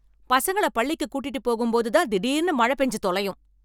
பசங்கள பள்ளிக்கு கூட்டிட்டு போகும் போது தான் திடீர்னு மழ பெஞ்சு தொலையும்